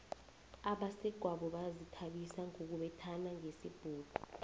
abesegwabo bazithabisa ngokubethana ngesibhuku